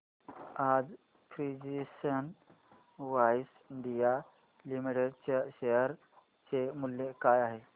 आज precision wires India limited च्या share चे मूल्य काय आहे